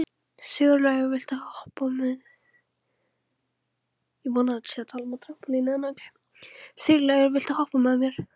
Sigurlaugur, viltu hoppa með mér?